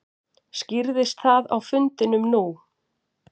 Skýrðist það á fundinum nú?